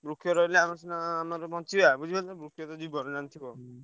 ବୃକ୍ଷ ରହିଲେ ଆମର ସିନା ନହେଲେ ବଞ୍ଚିବା ବୁଝିପାରୁଛ ବୃକ୍ଷତ ଜୀବନ ଜାଣିଥିବ।